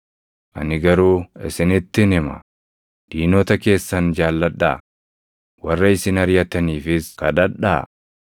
Ani garuu isinittin hima; diinota keessan jaalladhaa; warra isin ariʼataniifis kadhadhaa;